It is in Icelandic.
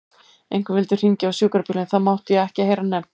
Einhver vildi hringja á sjúkrabíl en það mátti ég ekki heyra nefnt.